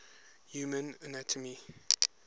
human anatomy